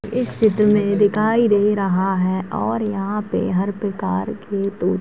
इस चित्र में दिखाई दे रहा है और यहाँं पे हर प्रकार के तो --